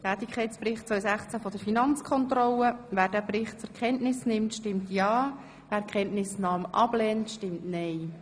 Wer den Tätigkeitsbericht 2016 der Finanzkontrolle zur Kenntnis nimmt, stimmt ja, wer die Kenntnisnahme ablehnt, stimmt nein.